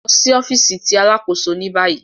Lọ si ọfiisi ti Alakoso ni bayi